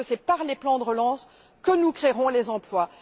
Parce que c'est par les plans de relance que nous créerons les emplois.